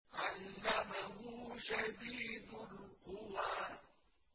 عَلَّمَهُ شَدِيدُ الْقُوَىٰ